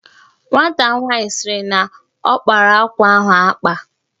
Nwata nwaanyị sịrị na ọ kpara akwa ahụ akpa